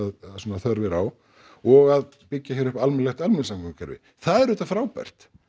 þörf er á og að byggja hér upp almennilegt almenningssamgöngukerfi það er auðvitað frábært